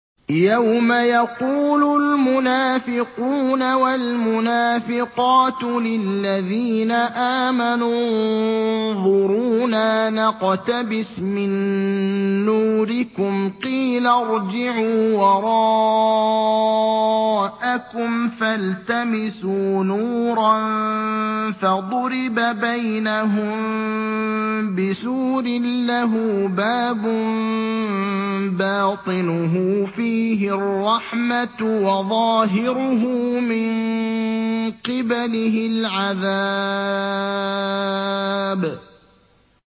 يَوْمَ يَقُولُ الْمُنَافِقُونَ وَالْمُنَافِقَاتُ لِلَّذِينَ آمَنُوا انظُرُونَا نَقْتَبِسْ مِن نُّورِكُمْ قِيلَ ارْجِعُوا وَرَاءَكُمْ فَالْتَمِسُوا نُورًا فَضُرِبَ بَيْنَهُم بِسُورٍ لَّهُ بَابٌ بَاطِنُهُ فِيهِ الرَّحْمَةُ وَظَاهِرُهُ مِن قِبَلِهِ الْعَذَابُ